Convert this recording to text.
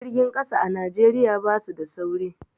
Jirgin ƙasa a Najeriya basu da sauri